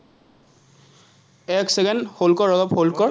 এক second, hold কৰ, অলপ hold কৰ